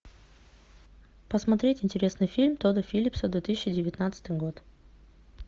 посмотреть интересный фильм тодда филлипса две тысячи девятнадцатый год